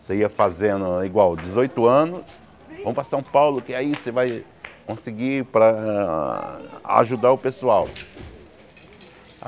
Você ia fazendo igual, dezoito anos, vamos para São Paulo, que aí você vai conseguir para ajudar o pessoal.